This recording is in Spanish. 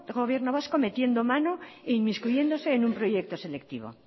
gobierno vasco metiendo mano e inmiscuyéndose en un proyecto selectivo